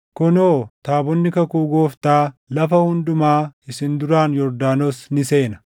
Kunoo, taabonni kakuu Gooftaa lafa hundumaa isin duraan Yordaanos ni seena.